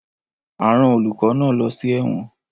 A rán olùkọ́ náà lọ sí ẹ̀wọ̀n